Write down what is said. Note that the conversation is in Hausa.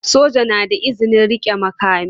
Soja na da izinin rike makami.